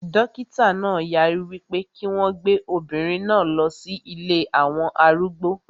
Dókítà náà yarí wípé kí wọn gbé obìnrin náà lọ sí ilée àwọn arúgbó